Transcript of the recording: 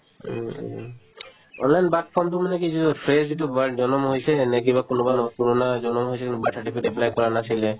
online birth form তো মানে কি যিটো fresh যিটো birth জনম হৈছে সেনেই কিবা কোনোবা নহয় পূৰণা এজনৰ হৈছে কিন্তু birth certificate apply কৰা নাছিলে